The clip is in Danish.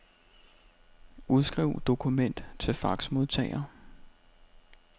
Udskriv dokument til faxmodtager.